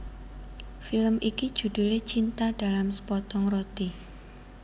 Film iki judhulé Cinta dalam Sepotong Roti